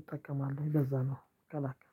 እጠቀማለሁ። ለዛ ነው ቀላ